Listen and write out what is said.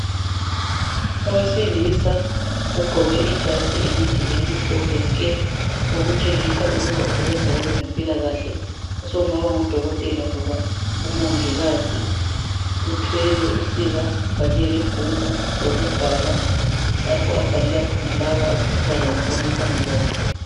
Owesilisa ogqoke ijazi elide elimhlophe nke. Okutshengisa ukuba usebenza kwabeze mpilakahle, sokungaba ngudokotela loba umongikazi. Uthwele usiba kanye lebhuku lokubhala. Lapha abhalela khona labo abesifazana abamiphambi kwakhe.